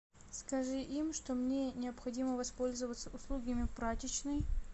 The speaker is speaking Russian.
скажи им что мне необходимо воспользоваться услугами прачечной